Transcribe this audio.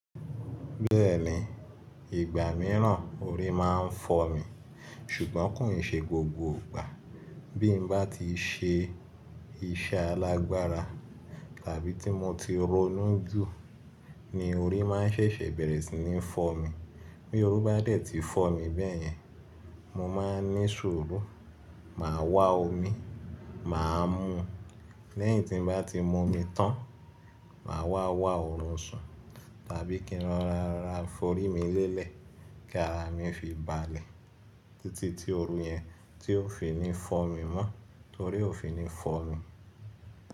Bẹ́ẹ̀ni, ìgbà mìíràn orí máa ń fọ́ mi, ṣùgbọ́n kòì ṣe gbogbo ìgbà. Bí mo bá ti ṣe iṣẹ́ alágbára tàbí tí mo ti ronú jù ni orí máa ṣẹ̀ṣẹ̀ bẹ̀rẹ̀ sí ní fọ́ mi. Bí orí bá dẹ̀ ti fọ́ mi bẹ́yẹn, mo máa ní sùúrù, màá wa omi, màá mú un. Lẹ́yìn tí mo bá ti mu omi tán, màá wá wá ọ̀rùn sùn tàbí kí n ra ra fi'orí mi lélẹ̀ kí ara mi fi balẹ̀ títí tí oru yẹn tí òfin ní fọ́ mi mọ́ torí òfin ní fọ̀ mí.